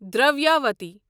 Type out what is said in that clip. Dravyavati